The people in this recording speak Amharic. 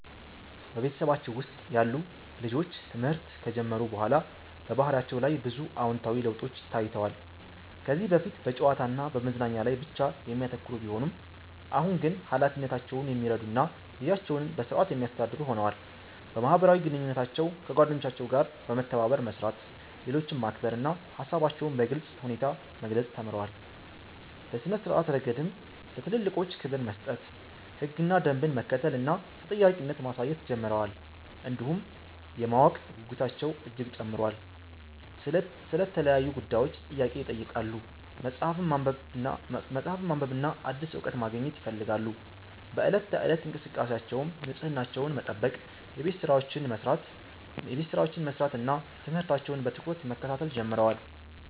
በቤተሰባችን ውስጥ ያሉ ልጆች ትምህርት ከጀመሩ በኋላ በባህሪያቸው ላይ ብዙ አዎንታዊ ለውጦች ታይተዋል። ከዚህ በፊት በጨዋታ እና በመዝናኛ ላይ ብቻ የሚያተኩሩ ቢሆኑም፣ አሁን ግን ኃላፊነታቸውን የሚረዱ እና ጊዜያቸውን በሥርዓት የሚያስተዳድሩ ሆነዋል። በማህበራዊ ግንኙነታቸው ከጓደኞቻቸው ጋር በመተባበር መስራት፣ ሌሎችን ማክበር እና ሃሳባቸውን በግልጽ ሁኔታ መግለጽ ተምረዋል። በሥነ-ስርዓት ረገድም ለትልልቆች ክብር መስጠት፣ ህግና ደንብን መከተል እና ተጠያቂነት ማሳየት ጀምረዋል። እንዲሁም የማወቅ ጉጉታቸው እጅግ ጨምሯል፤ ስለ ተለያዩ ጉዳዮች ጥያቄ ይጠይቃሉ፣ መጽሐፍትን ማንበብና አዲስ እውቀት ማግኘት ይፈልጋሉ። በዕለት ተዕለት እንቅስቃሴያቸውም ንጽህናቸውን መጠበቅ፣ የቤት ሥራቸውን መስራት እና ትምህርታቸውን በትኩረት መከታተል ጀምረዋል።